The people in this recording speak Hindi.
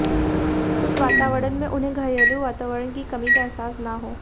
उस वातावरण में उन्हें घरेलू वातावरण की कमी का एहसास न हो